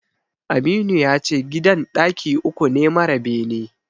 Aminu yace gidan ɗaki uku ne mara bene.